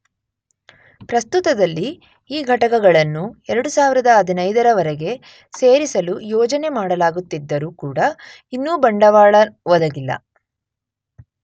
ಪ್ರಸ್ತುತದಲ್ಲಿ ಈ ಘಟಕಗಳನ್ನು 2015 ರ ವರೆಗೆ ಸೇರಿಸಲು ಯೋಜನೆ ಮಾಡಲಾಗುತ್ತಿದ್ದರೂ ಕೂಡ ಇನ್ನೂ ಬಂಡವಾಳ ಒದಗಿಲ್ಲ.